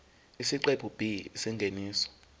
isiqephu b isingeniso